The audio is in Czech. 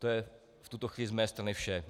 To je v tuto chvíli z mé strany vše.